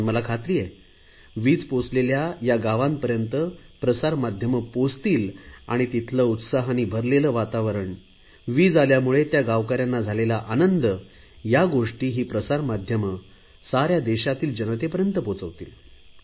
पण मला खात्री आहे वीज पोहचलेल्या या गावांपर्यंत प्रसार माध्यमे पोहचतील आणि तिथल्या उत्साहाने भरलेले वातावरण वीज आल्यामुळे त्या गावकऱ्यांना झालेला आनंद या गोष्टी ही प्रसार माध्यमे साऱ्या देशातील जनतेपर्यंत पोहचवतील